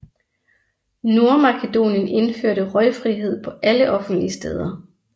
Nordmakedonien indførte røgfrihed på alle offentlige steder